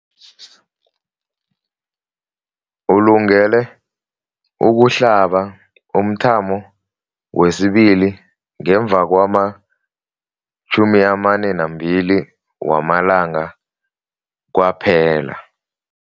Ulungele ukuhlaba umthamo wesibili ngemva kwama-42 wamalanga kwaphela.